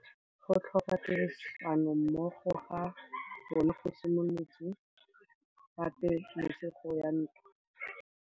Go tlhoka tirsanommogo ga bone go simolotse patêlêsêgô ya ntwa.